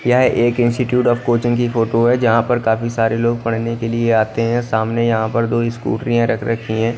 यह एक institute of coaching की फोटो है जहाँ पर काफी सारे लोग पढ़ने के लिए आते हैं सामने यहाँ पर दो स्कूटरियाँ रख रखी हैं।